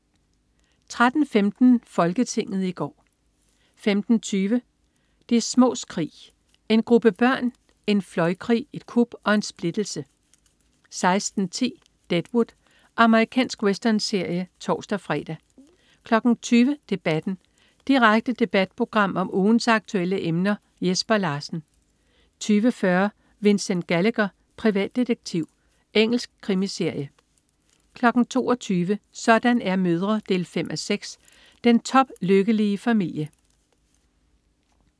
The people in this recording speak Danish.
13.15 Folketinget i går 15.20 De smås krig. En gruppe børn, en fløjkrig, et kup og en splittelse 16.10 Deadwood. Amerikansk westernserie (tors-fre) 20.00 Debatten. Direkte debatprogram om ugens aktuelle emner. Jesper Larsen 20.40 Vincent Gallagher, privatdetektiv. Engelsk krimiserie 22.00 Sådan er mødre 5:6. Den toplykkelige familie